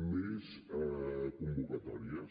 més convocatòries